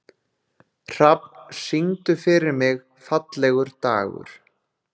Hrafn, syngdu fyrir mig „Fallegur dagur“.